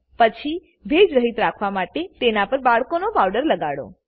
પછી ભેજ રહિત રાખવા માટે તેની પર બાળકોનો પાવડર લગાડો